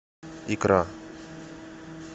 икра